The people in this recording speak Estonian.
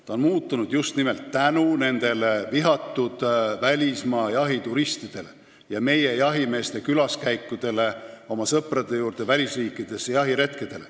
See on muutunud just nimelt tänu nendele vihatud välismaa jahituristidele ja meie jahimeeste külaskäikudele, jahiretkedele oma sõprade juurde välisriikidesse.